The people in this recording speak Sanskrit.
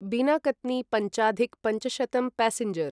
बिना कत्नि पञ्चाधिक पञ्चशतं पैसेंजर्